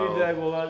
Bir dəqiqə olar.